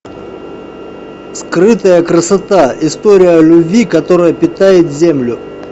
скрытая красота история любви которая питает землю